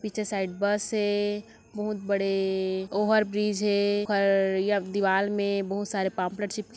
पीछे side bus है बहुत बड़े ओवरब्रीज है उधर एक दीवाल मे बहुत सारे पमलेट्स चिपके---